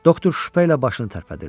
Doktor şübhə ilə başını tərpətdirdi.